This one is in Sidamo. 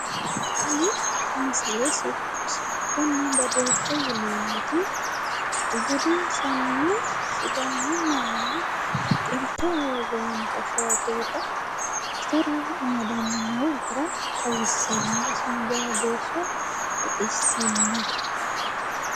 Tini misile sicconna badooshe yineemmoti budinsanni sidaamu manni xilteho worroonnita shaafeeta itara amadda noo gara xawissanno iseno jawa geesha baxissannote